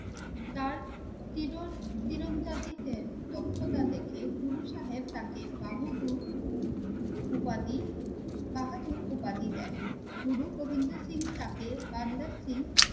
তার চির দক্ষতা দেখে গুরু সাহেব তাকে বাহাদুর উপাধি, বাহাদুর উপাধি দেন। গুরু গোবিন্দ সিং তাকে বান্দা সিং